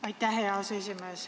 Aitäh, hea aseesimees!